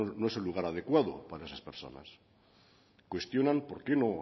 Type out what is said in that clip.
no es el lugar adecuado para esas personas cuestionan por qué no